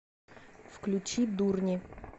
включи дурни